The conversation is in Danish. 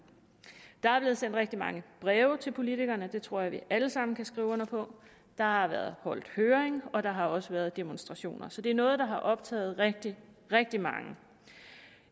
der er blevet sendt rigtig mange breve til politikerne det tror jeg vi alle sammen kan skrive under på der har været holdt en høring og der har også været demonstrationer så det er noget der har optaget rigtig rigtig mange